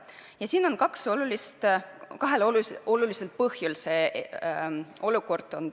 Praegune olukord tekitab piinlikkust kahel olulisel põhjusel.